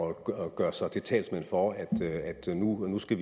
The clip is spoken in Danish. gøre sig til talsmand for at man nu ønsker